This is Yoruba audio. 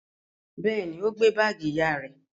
Bẹ́ẹ̀ ni, ó gbé báágì ìyá rẹ̀.